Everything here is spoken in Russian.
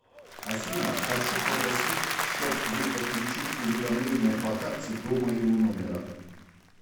афина хочу попросить щоб вы подключить уведомление по карте до моего номера